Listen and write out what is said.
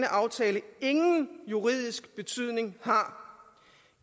aftale ingen juridisk betydning har